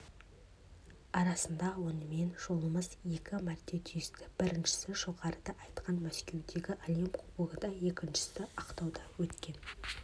арасында онымен жолымыз екі мәрте түйісті біріншісі жоғарыда айтқан мәскеудегі әлем кубогында екіншісі ақтауда өткен